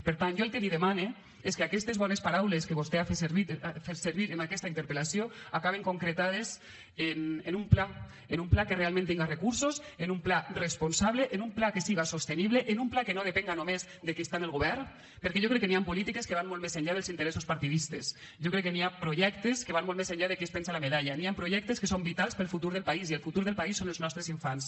per tant jo el que li demane és que aquestes bones paraules que vostè ha fet servir en aquesta interpel·lació acaben concretades en un pla en un pla que realment tinga recursos en un pla responsable en un pla que siga sostenible en un pla que no depenga només de qui està en el govern perquè jo crec que hi han polítiques que van molt més enllà dels interessos partidistes jo crec que hi ha projectes que van molt més enllà de qui es penja la medalla hi han projectes que són vitals per al futur del país i el futur del país són els nostres infants